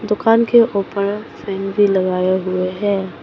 दुकान के ऊपर फैन भी लगाए हुए हैं।